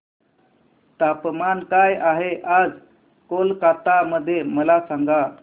तापमान काय आहे आज कोलकाता मध्ये मला सांगा